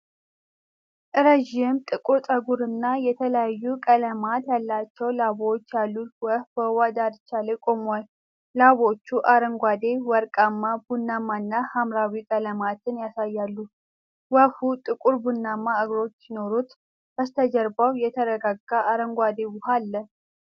ረዥም ጥቁር ፀጉር እና የተለያዩ ቀለማት ያላቸው ላባዎች ያሉት ወፍ በውሃ ዳርቻ ላይ ቆሟል። ላባዎቹ አረንጓዴ፣ ወርቃማ፣ ቡናማ እና ሐምራዊ ቀለማትን ያሳያሉ። ወፏው ጥቁር ቡናማ እግሮች ሲኖሩት፣ በስተጀርባ የተረጋጋ አረንጓዴ ውሃ አለ።